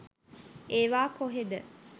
ඒවා කොහෙද.